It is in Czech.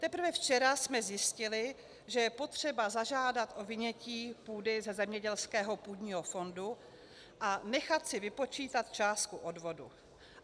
Teprve včera jsme zjistili, že je třeba zažádat o vynětí půdy ze zemědělského půdního fondu a nechat si vypočítat částku odvodu.